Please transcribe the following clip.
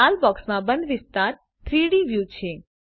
લાલ બોક્સમાં બંધ વિસ્તાર 3ડી વ્યુ છે